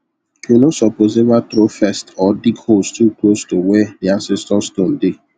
you no suppose ever throw first or dig holes too close to where the ancestor stone dey